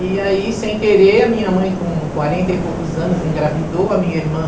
E aí, sem querer, a minha mãe, com quarenta e poucos anos, engravidou a minha irmã.